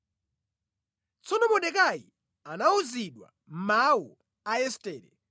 Tsono Mordekai anawuzidwa mawu a Estere.